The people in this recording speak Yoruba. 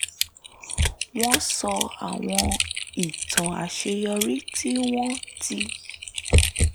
wọ́n sọ àwọn ìtàn àṣeyọrí tí wọ́n ti